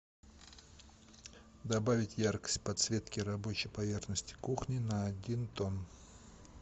добавить яркость подсветки рабочей поверхности кухни на один тон